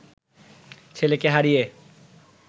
ছেলেকে হারিয়ে